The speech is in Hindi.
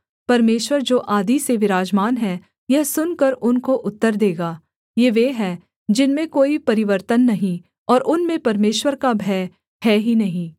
परमेश्वर जो आदि से विराजमान है यह सुनकर उनको उत्तर देगा सेला ये वे है जिनमें कोई परिवर्तन नहीं और उनमें परमेश्वर का भय है ही नहीं